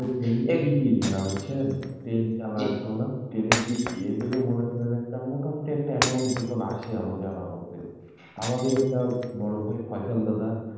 train এর TT দাদা বুঝছেন, ট্রেন চালাতো না, ট্রেন এর TT এদেরও মনে করেন একটা মোটামুটি একটা amount বেতন আসে, আমার জানা মতে আমারই একটা বড় ভাই ফৈসল দাদা,